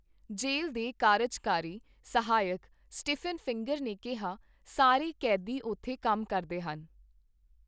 ਜੇਲ੍ਹ ਦੇ ਕਾਰਜਕਾਰੀ ਸਹਾਇਕ ਸਟੀਫਨ ਫਿੰਗਰ ਨੇ ਕਿਹਾ, ਸਾਰੇ ਕੈਦੀ ਉੱਥੇ ਕੰਮ ਕਰਦੇ ਹਨ।